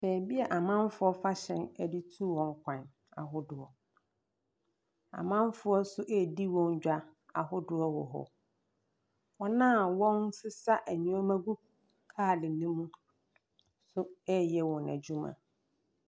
Baabi a amanfoɔ fa hyɛn de tu wɔn kwan ahodoɔ. Amanfoɔ nso redi wɔn dwa ahodoɔ wɔ hɔ. Wɔn a wɔresesa nneɛma gu kaade no mu nso reyɛ wɔn adwuma.